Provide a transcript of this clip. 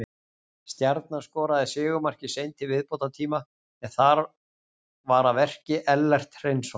Stjarnan skoraði sigurmarkið seint í viðbótartíma en þar var að verki Ellert Hreinsson.